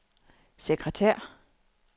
sekretær